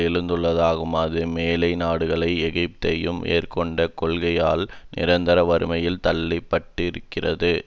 எழுந்ததாகும் அது மேலை நாடுகளின் ஏகாதிபத்தியம் மேற்கொண்ட கொள்கைகளால் நிரந்தர வறுமையில் தள்ளிப்பட்டிருக்கிறது